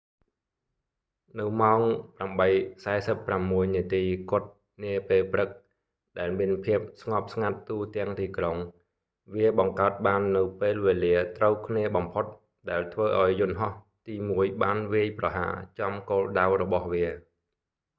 នៅម៉ោង 8:46 នាទីគត់នាពេលព្រឹកដែលមានភាពស្ងប់ស្ងាត់ទូទាំងទីក្រុង វាបង្កើតបាននូវពេលវេលាត្រូវគ្នាបំផុតដែលធ្វើឲ្យយន្ដហោះទីមួយបានវាយប្រហារចំគោលដៅរបស់វា